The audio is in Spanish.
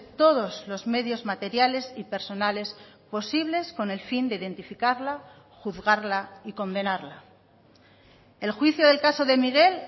todos los medios materiales y personales posibles con el fin de identificarla juzgarla y condenarla el juicio del caso de miguel